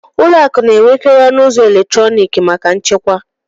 ụlọ akụ na-enwekarị ọnụ ụzọ eletrọnịkị maka nchekwa